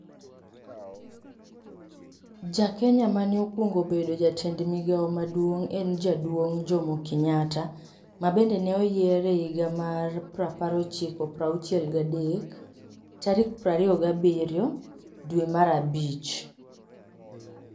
Ja Kenya mane okuongo bedo jatend migao maduong' en jaduong' Jomo Kenyatta, ma bende ne oyier e higa mar prapar ochiko prauchiel gadek, tarik prariyo gabiryo, dwe mar abich